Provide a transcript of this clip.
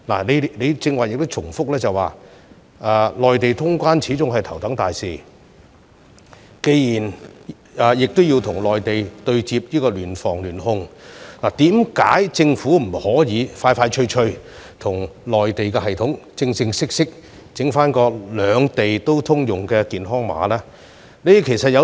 既然你剛才重申，與內地通關是頭等大事，並且要與內地對接、聯防聯控，為何政府不能盡快與內地當局正式開發兩地通用的健康碼？